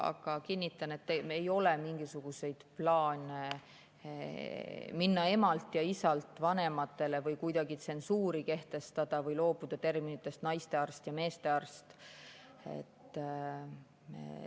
Aga kinnitan, et ei ole mingisuguseid plaane minna nimetustelt "ema" ja "isa" üle nimetusele "vanemad" või kuidagi tsensuuri kehtestada või loobuda terminitest "naistearst" ja "meestearst".